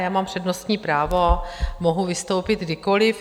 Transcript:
Já mám přednostní právo, mohu vystoupit kdykoli.